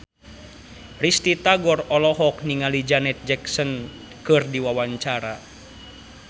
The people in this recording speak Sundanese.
Risty Tagor olohok ningali Janet Jackson keur diwawancara